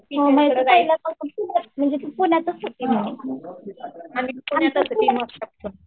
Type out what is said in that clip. नाही तू पहिल्यापासून पुण्यातच होती ना